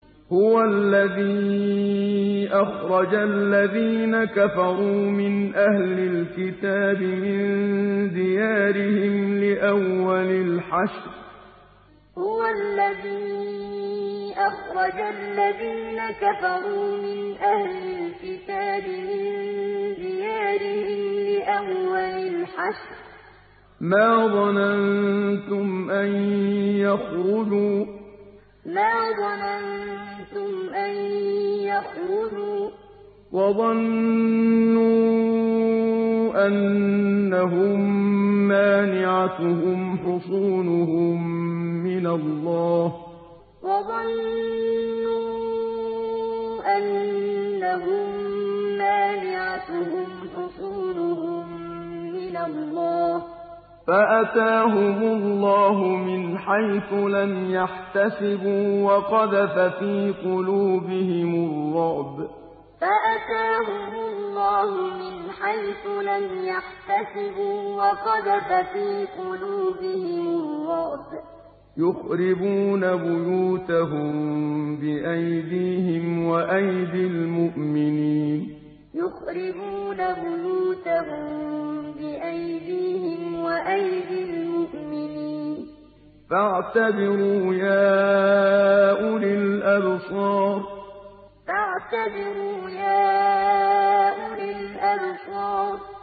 هُوَ الَّذِي أَخْرَجَ الَّذِينَ كَفَرُوا مِنْ أَهْلِ الْكِتَابِ مِن دِيَارِهِمْ لِأَوَّلِ الْحَشْرِ ۚ مَا ظَنَنتُمْ أَن يَخْرُجُوا ۖ وَظَنُّوا أَنَّهُم مَّانِعَتُهُمْ حُصُونُهُم مِّنَ اللَّهِ فَأَتَاهُمُ اللَّهُ مِنْ حَيْثُ لَمْ يَحْتَسِبُوا ۖ وَقَذَفَ فِي قُلُوبِهِمُ الرُّعْبَ ۚ يُخْرِبُونَ بُيُوتَهُم بِأَيْدِيهِمْ وَأَيْدِي الْمُؤْمِنِينَ فَاعْتَبِرُوا يَا أُولِي الْأَبْصَارِ هُوَ الَّذِي أَخْرَجَ الَّذِينَ كَفَرُوا مِنْ أَهْلِ الْكِتَابِ مِن دِيَارِهِمْ لِأَوَّلِ الْحَشْرِ ۚ مَا ظَنَنتُمْ أَن يَخْرُجُوا ۖ وَظَنُّوا أَنَّهُم مَّانِعَتُهُمْ حُصُونُهُم مِّنَ اللَّهِ فَأَتَاهُمُ اللَّهُ مِنْ حَيْثُ لَمْ يَحْتَسِبُوا ۖ وَقَذَفَ فِي قُلُوبِهِمُ الرُّعْبَ ۚ يُخْرِبُونَ بُيُوتَهُم بِأَيْدِيهِمْ وَأَيْدِي الْمُؤْمِنِينَ فَاعْتَبِرُوا يَا أُولِي الْأَبْصَارِ